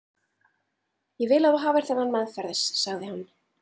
Ég vil að þú hafir þennan meðferðis, sagði hann.